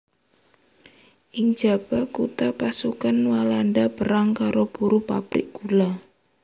Ing njaba kutha pasukan Walanda perang karo buruh pabrik gula